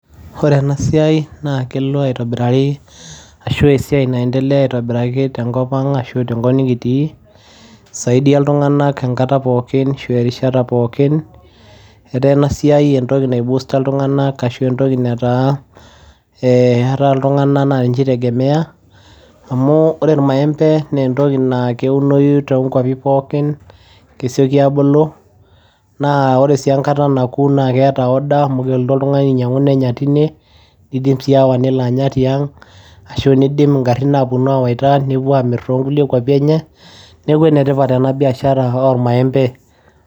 Wore enasiai naa kelo aitobirari ashu esiai naendelea aitobiraki tenkop ang ashu tenkop nikitii, isaidia iltunganak enkata pookin ashu erishata pookin, etaa enasiai entoki naiposa iltunganak ashua entoki nataa eeh iltunganak naa ninje itegemea amu wore irmaembe naa entoki naa keunoyu too inkwapi pookin, kesioki abulu naa wore enkata nakuu naa keeta order amu kelotu oltungani ainyangu nenyai tine , nidim sii aawa nelo anya tiang , ashu nidim ingarin aponu awaita nepuo amir tukwapi enye. Niaku enetipat ena biashara oormaembe.